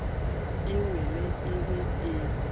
e wele e be e